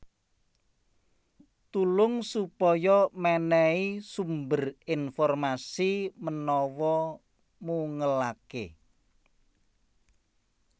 Tulung supaya mènèhi sumber informasi menawa mungelaké